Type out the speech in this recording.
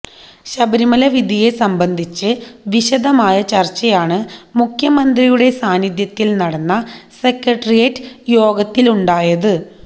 ശബരിമലവിധിയെ സംബന്ധിച്ച് വിശദമായ ചർച്ചയാണ് മുഖ്യമന്ത്രിയുടെ സാന്നിധ്യത്തിൽ നടന്ന സെക്രട്ടേറിയറ്റ് യോഗത്തിലുണ്ടായത്